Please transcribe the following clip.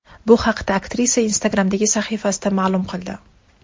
Bu haqda aktrisa Instagram’dagi sahifasida ma’lum qildi .